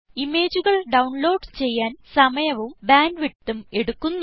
ഇമേജുകൾ ഡൌൺലോഡ് ചെയ്യാൻ സമയവും ബാൻഡ് വിഡ്ത്തും എടുക്കുന്നു